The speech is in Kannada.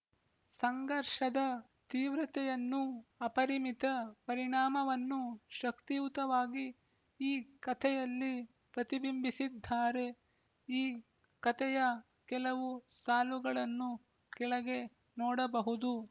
ಸಂಘರ್ಷದ ತೀವ್ರತೆಯನ್ನೂ ಅಪರಿಮಿತ ಪರಿಣಾಮವನ್ನೂ ಶಕ್ತಿಯುತವಾಗಿ ಈ ಕಥೆಯಲ್ಲಿ ಪ್ರತಿಬಿಂಬಿಸಿದ್ದಾರೆ ಈ ಕಥೆಯ ಕೆಲವು ಸಾಲುಗಳನ್ನು ಕೆಳಗೆ ನೋಡಬಹುದು